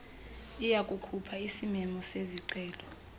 iyakukhupha isimemo sezicelo